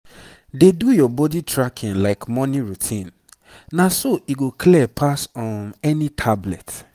dey do your body tracking like morning routine na so e go clear pass um any tablet.